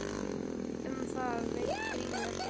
Um það veit Grímur ekkert.